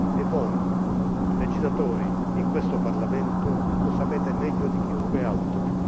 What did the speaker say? E voi, legislatori in questo Parlamento, lo sapete meglio di chiunque altro.